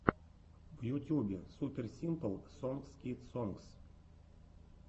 в ютюбе супер симпл сонгс кидс сонгс